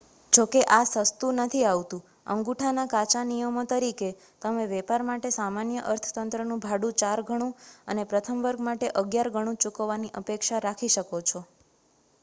જોકે આ સસ્તું નથી આવતું અંગૂઠાના કાચા નિયમો તરીકે તમે વેપાર માટે સામાન્ય અર્થતંત્રનું ભાડું ચાર ઘણું અને પ્રથમ વર્ગ માટે અગિયાર ઘણું ચૂકવવાની અપેક્ષા રાખી શકો છો